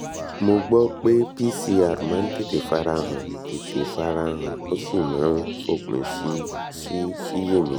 mo gbọ́ pé pcr máa ń tètè fara han tètè fara han ó sì máa ń fòpin sí síṣiyèméjì